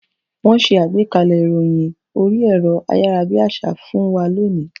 Wọ́n ṣe àgbékalẹ̀ ìròyìn orí ẹ̀rọ ayárabíàṣá fún wa lónìí.